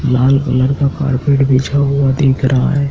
लाल colour का carpet बिछा हुआ दिख रहा है।